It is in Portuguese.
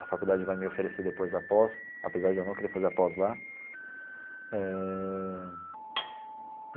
A faculdade vai me oferecer depois a pós, apesar de eu não querer fazer a pós lá eh.